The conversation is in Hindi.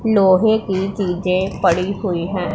लोहे की चीजें पड़ी हुई हैं।